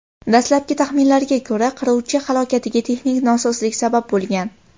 Dastlabki taxminlarga ko‘ra, qiruvchi halokatiga texnik nosozlik sabab bo‘lgan.